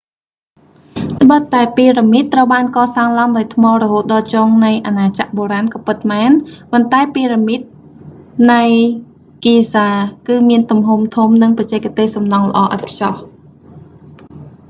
ត្បិតតែពីរ៉ាមីតត្រូវបានកសាងឡើងដោយថ្មរហូតដល់ចុងនៃអាណាចក្របុរាណក៏ពិតមែន ប៉ុន្តែពីរ៉ាមីននៃ giza គឺមានទំហំធំ និងបច្ចេកទេសសំណង់ល្អឥតខ្ចោះ